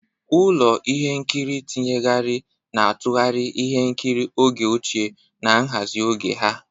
Ụlọ ihe nkiri tinyegharị na-atụgharị ihe nkiri oge ochie na nhazi oge ha.